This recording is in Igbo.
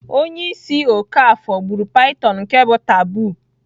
Onye isi okafor gburu python nke bu taboo.